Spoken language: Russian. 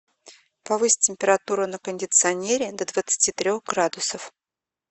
повысь температуру на кондиционере до двадцати трех градусов